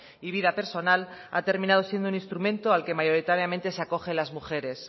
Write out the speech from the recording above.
y vida personal ha terminado siendo un instrumento al que mayoritariamente se acogen las mujeres